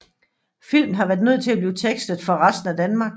Filmen har været nødt til at blive tekstet for resten af Danmark